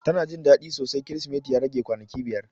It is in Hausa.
Ta na Jin dadi sosai krisimeti ya rage kwanaki biyar.